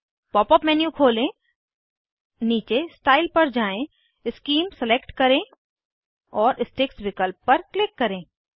pop up menu खोलें नीचे style पर जाएँ शीम सलेक्ट करें और स्टिक्स विकल्प पर क्लिक करें